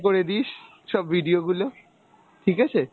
করে দিস, সব video গুলো, ঠিক আছে?